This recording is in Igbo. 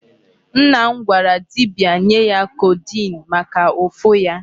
Nna m gwara dibia nye ya codeine maka ụfụ ya.